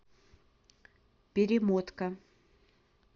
перемотка